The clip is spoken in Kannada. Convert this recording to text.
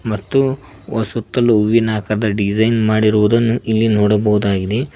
ಮತ್ತು ಸುತ್ತಲೂ ಹೂವಿನ ಕದ ಡಿಸೈನ್ ಮಾಡಿರುವುದನ್ನು ಇಲ್ಲಿ ನೋಡಬಹುದಾಗಿದೆ.